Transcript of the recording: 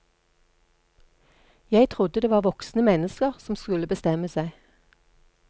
Jeg trodde det var voksne mennesker som skulle bestemme seg.